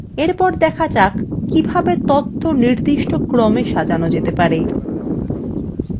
এরপর দেখা যাক কিভাবে নির্দিষ্ট ক্রমে সাজানো যায়